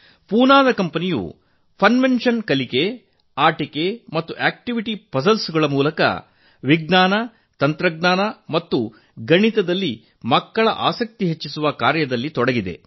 ಪೂನಾದ ಫನ್ವೆನ್ಷನ್ ಕಂಪನಿಯು ಕಲಿಕೆ ಆಟಿಕೆ ಮತ್ತು ಪದಬಂಧ ಪಜಲ್ಸ್ ನ ಮೂಲಕ ವಿಜ್ಞಾನ ತಂತ್ರಜ್ಞಾನ ಮತ್ತು ಗಣಿತದಲ್ಲಿ ಮಕ್ಕಳ ಆಸಕ್ತಿ ಹೆಚ್ಚಿಸುವ ಕೆಲಸದಲ್ಲಿ ತೊಡಗಿದೆ